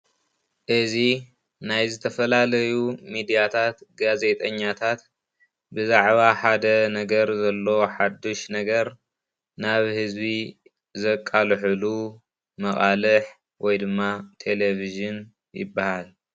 እዚ ናይ ዝተፈላለዩ ሚድያታት ጋዜጠኛታት ብዛዕባ ሓደ ነገር ዘሎ ሓዱሽ ነገር ናብ ህዝቢ ዘቃልሕሉ መቃልሕ ወይ ድማ ቴሌቭዥን ይባሃል፡፡